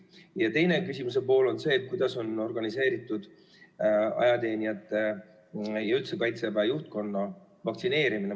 Ja teine küsimus on, kuidas on organiseeritud ajateenijate ja Kaitseväe juhtkonna vaktsineerimine.